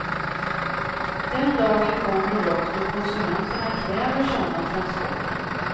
Den dagen kommer dock då konsumenterna kräver sådana transporter.